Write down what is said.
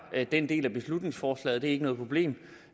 den del af beslutningsforslaget det er ikke noget problem